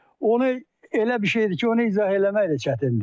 Onu elə bir şeydir ki, onu izah eləmək də çətindir.